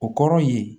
O kɔrɔ ye